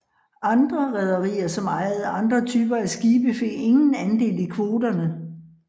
Andre rederier som ejede andre typer af skibe fik ingen andel af kvoterne